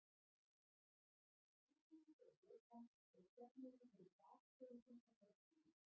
Þá hituðu þeir vökvann og söfnuðu þeim gastegundum sem losnuðu.